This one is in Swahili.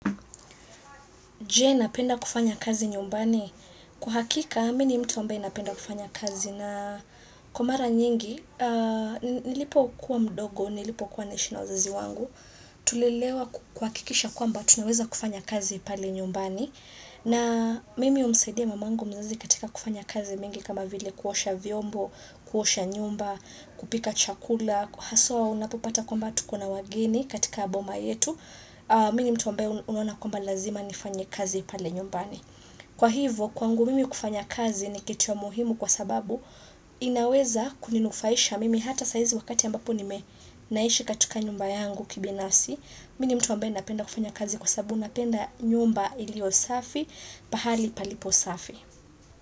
Je napenda kufanya kazi nyumbani. Kwa hakika, mini mtu ambae napenda kufanya kazi. Kwa mara nyingi, nilipokuwa mdogo, nilipokuwa naishi na wazazi wangu. Tulelewa kuhakikisha kwamba tunaweza kufanya kazi pale nyumbani. Na mimi umsaidia mamangu mzazi katika kufanya kazi mingi kama vile kuosha vyombo, kuosha nyumba, kupika chakula. Haswa unapopata kwamba tuko na wageni katika boma yetu. Mimi ni mtu ambae unaona kwamba lazima nifanye kazi pale nyumbani Kwa hivyo kwangu mimi kufanya kazi ni kitu ya muhimu kwa sababu inaweza kuninufaisha mimi hata saizi wakati ambapo nime naishi katika nyumba yangu kibinafsi Mi ni mtu ambae napenda kufanya kazi kwa sabu napenda nyumba ilio safi pahali palipo safi.